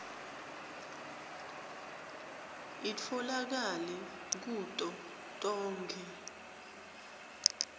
itfolakale kuto tonkhe